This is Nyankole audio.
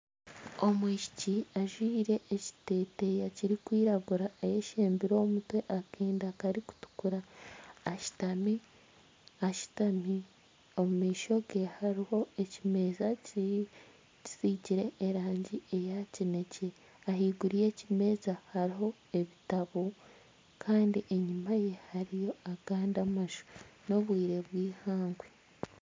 Omwishiki ajwaire ekiteteeya kirikwiragura ayeshembire omu mutwe akenda karikutukura ashutami ,omu maisho gye harimu ekimeeza kisigire erangi eya kinekye ahaiguru y'ekimeeza hariyo ebitabo kandi enyuma ye hariyo abandi amaju n'obwire bw'eihangwe.